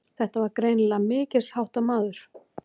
Þetta var greinilega mikilsháttar maður.